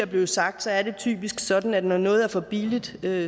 blevet sagt er det typisk sådan at når noget er for billigt er